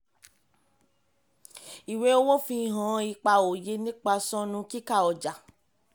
ìwé owó fi hàn ipa òye nípa sọnù kíkà ọjà.